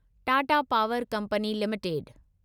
Tata power company limited